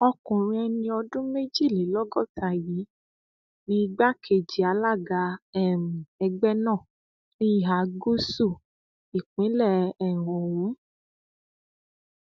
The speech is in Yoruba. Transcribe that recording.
ọkùnrin ẹni ọdún méjìlélọgọta yìí ni igbákejì alága um ẹgbẹ náà ní ìhà gúúsù ìpínlẹ um ọhún